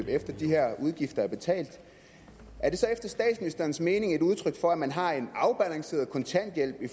efter de her udgifter er betalt er det så efter statsministerens mening et udtryk for at man har en afbalanceret kontanthjælp i